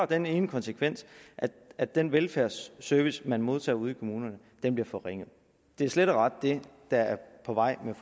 den ene konsekvens at den velfærdsservice man modtager ude i kommunerne bliver forringet det er slet og ret det der er på vej med